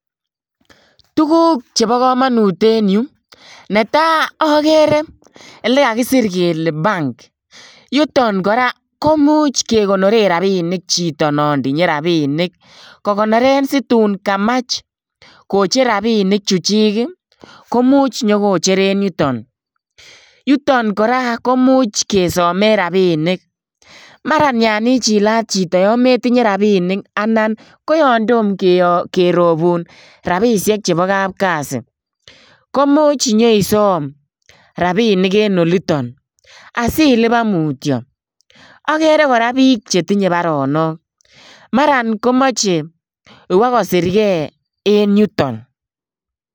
Tuguk chebo kamanut en yu. Netai agere elekakisir kele bank. Yuton kora komuch kegonoren rapinkik chito non tinye rapinik, kokonoren situn kamach kocher rapini chuchik komuch nyokocher en yuton. Yuton kora, komuch kesime rapinik. Mara yon ichilat chito yon metinye rapinik ana koyon tomo keropun rapisiek chobo kapkasi. Komuch inyeisom rapinik en oliton asilipan mutyo. Agere kora biik chetinye baronok mara komeche kobokosirge en yuton.